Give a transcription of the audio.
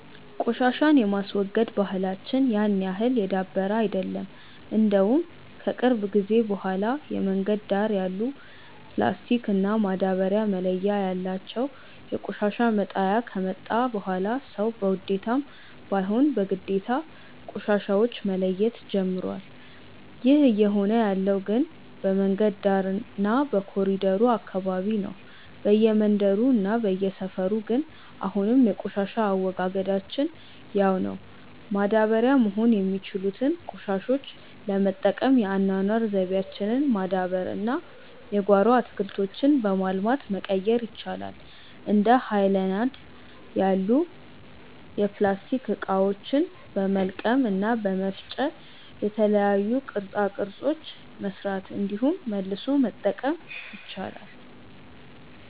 ቆሻሻን የማስወገድ ባህላች ያን ያህል የዳበረ አይደለም። እንደውም ከቅርብ ጊዜ በኋላ የመንገድ ዳር ያሉ ፕላስቲክ እና ማዳበርያ መለያ ያላቸው የቆሻሻ መጣያ ከመጣ በኋላ ሰዉ በውዴታም ባይሆን በግዴታ ቆሻሻዎች መለየት ጀምሮዋል። ይህ እየሆነ ያለው ግን በመንገድ ዳር እና በኮሪደሩ አካባቢ ነው። በየመንደሩ እና በየሰፈሩ ግን አሁንም የቆሻሻ አወጋገዳችን ያው ነው። ማዳበሪያ መሆን የሚችሉትን ቆሻሾች ለመጠቀም የአኗኗር ዘይቤያችንን ማዳበር እና የጓሮ አትክልቶችን በማልማት መቀየር ይቻላል። እንደ ሀይለናድ ያሉ የፕላስቲክ እቃዎችን በመልቀም እና በመፍጨ የተለያዩ ቅርፃ ቅርፆችን መስራት እንዲሁም መልሶ መጠቀም ይቻላል።